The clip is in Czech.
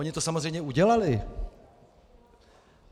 Oni to samozřejmě udělali.